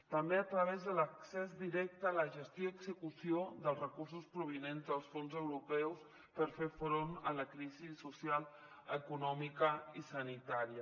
també a través de l’accés directe a la gestió i execució dels recursos provinents dels fons europeus per fer front a la crisi social econòmica i sanitària